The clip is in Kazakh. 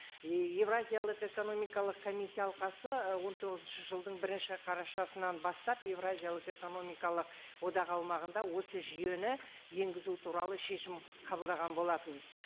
еуразиялық экономикалық комиссия алқасы он тоғызыншы жылдың бірінші қарашасынан бастап еуразиялық экономикалық одақ аумағында осы жүйені енгізу туралы шешім қабылдаған болатын